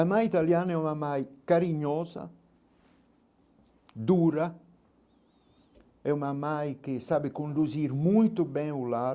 A mãe italiana é uma mãe carinhosa, dura, é uma mãe que sabe conduzir muito bem o lar,